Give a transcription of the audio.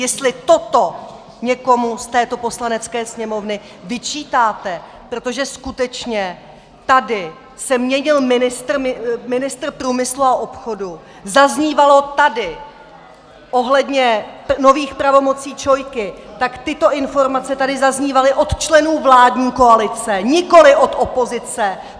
Jestli toto někomu z této Poslanecké sněmovny vyčítáte, protože skutečně tady se měnil ministr průmysl a obchodu, zaznívalo tady ohledně nových pravomocí ČOI, tak tyto informace tady zaznívaly od členů vládní koalice, nikoli od opozice.